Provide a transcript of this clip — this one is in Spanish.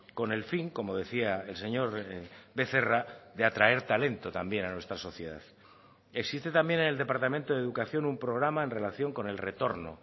con el fin como decía el señor becerra de atraer talento también a nuestra sociedad existe también en el departamento de educación un programa en relación con el retorno